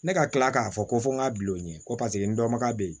Ne ka tila k'a fɔ ko fɔ n ka bil'o ɲɛ ko paseke n dɔnbaga bɛ yen